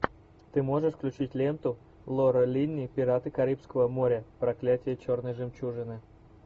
ты можешь включить ленту лора линни пираты карибского моря проклятие черной жемчужины